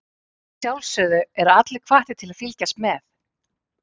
Að sjálfsögðu eru allir hvattir til að fylgjast með.